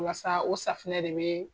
Wasa o safunɛ re be